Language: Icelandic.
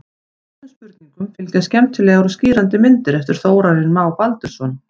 Öllum spurningum fylgja skemmtilegar og skýrandi myndir eftir Þórarinn Má Baldursson.